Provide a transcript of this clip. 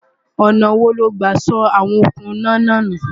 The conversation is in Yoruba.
ọ̀nà wo lo gbà sọ àwọn okùn iná nù?